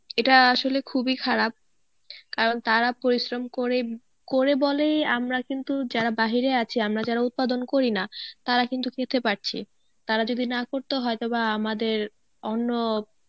এটা আসলে খুবই খারাপ কারণ তারা পরিশ্রম করে, করে বলেই আমরা কিন্তু যারা বাহিরে আছি, আমরা যারা উৎপাদন করি না তারা কিন্তু খেতে পারছি তারা যদি না করতো হয়তো বা আমাদের অন্য